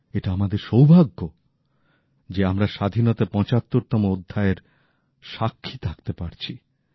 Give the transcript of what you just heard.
এটা আমাদের সৌভাগ্য যে আমরা স্বাধীনতার ৭৫ তম অধ্যায়ের সাক্ষী থাকতে পারছি